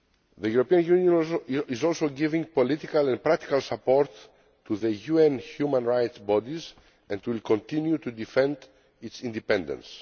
The European Union is also giving political and practical support to the UN human rights bodies and will continue to defend its independence.